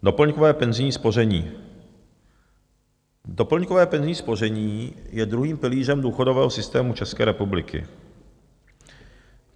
Doplňkové penzijní spoření - doplňkové penzijní spoření je druhým pilířem důchodového systému České republiky.